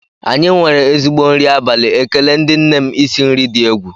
Anyị nwere ezigbo nri abalị ezinụlọ, ekele ndị nne m isi nri dị egwu